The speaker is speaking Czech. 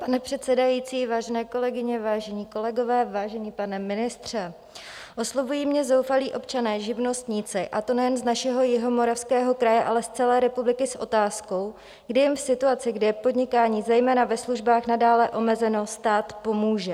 Pane předsedající, vážené kolegyně, vážení kolegové, vážený pane ministře, oslovují mě zoufalí občané, živnostníci, a to nejen z našeho Jihomoravského kraje, ale z celé republiky, s otázkou, kdy jim v situaci, kdy je podnikání zejména ve službách nadále omezeno, stát pomůže.